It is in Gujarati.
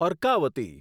અર્કાવતી